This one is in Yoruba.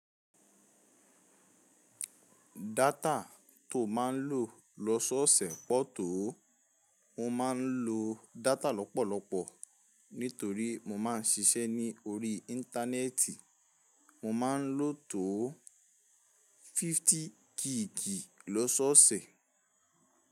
Data tó máa ń lò lọ́sọ̀ọ̀sẹ̀ pọ̀ tó. Mo máa ń lo data lọ́pọ̀lọpọ̀ nítorí mo máa ń ṣiṣẹ́ ní orí Íńtánẹ́ẹ̀tì. Mo máa ń lò tó 50 gigì lọ́sọ̀ọ̀sẹ̀.